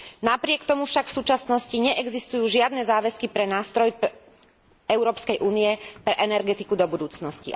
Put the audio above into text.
Napriek tomu však v súčasnosti neexistujú žiadne záväzky pre nástroj Európskej únie pre energetiku do budúcnosti.